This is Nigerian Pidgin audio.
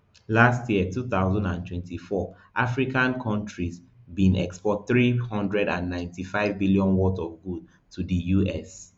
last year two thousand and twenty-four african countrys bin export three hundred and ninety-five billion worth of goods to di us